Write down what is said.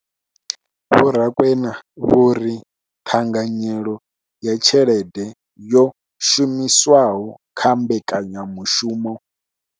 Vho Rakwena vho ri ṱhanganyelo ya tshelede yo shumiswaho kha mbekanyamushumo